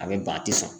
A bɛ ban a tɛ sɔn